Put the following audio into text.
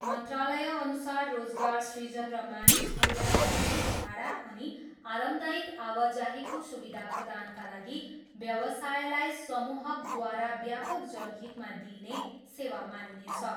मन्त्रालयअनुसार रोजगार सृजन र मानिसहरूलाई कम्ती भाडा अनि अरामदायक आवाजाहीको सुविधा प्रदानका लागि व्यवसायलाई समूहकद्वारा व्यापक जनहितमा दिइने सेवा मानिनेछ।